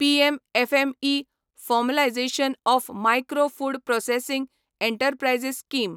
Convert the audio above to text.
PM FME formalisation of micro food processing enterprises scheme